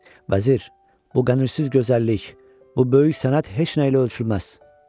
Vəzir, bu qədirsiz gözəllik, bu böyük sənət heç nəylə ölçülməz.